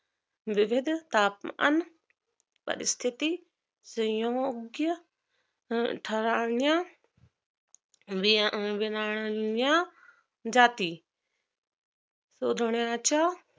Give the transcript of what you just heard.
विविध तापमान परिस्थिती योग्य ठरवण्यात विनलंण्या जाती सुधारण्याच्या